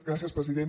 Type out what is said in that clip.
gràcies president